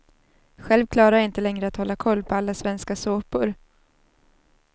Själv klarar jag inte längre att hålla koll på alla svenska såpor.